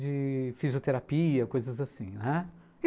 de fisioterapia, coisas assim, né?